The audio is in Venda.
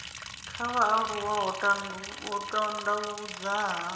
kha vhaaluwa ho tandavhudzwa na